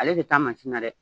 Ale de taa mansin na dɛ!